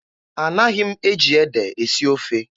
Anaghị m eji ede esi ofe.